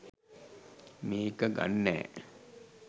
මේක ගන්නෑ